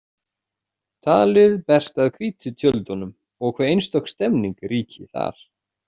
Talið berst að hvítu tjöldunum og hve einstök stemning ríki þar.